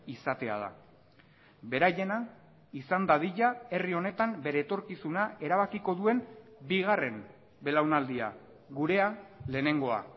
izatea da beraiena izan dadila herri honetan bere etorkizuna erabakiko duen bigarren belaunaldia gurea lehenengoa